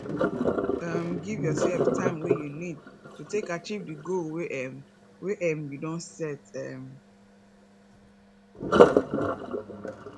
um give your sef time wey you need to take achieve di goal wey um wey um you don set um